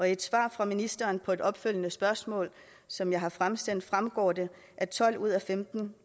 i et svar fra ministeren på et opfølgende spørgsmål som jeg har fremsendt fremgår det at tolv ud af femten